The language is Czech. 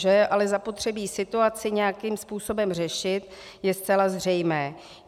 Že je ale zapotřebí situaci nějakým způsobem řešit, je zcela zřejmé.